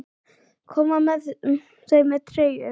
Koma þau með treyju?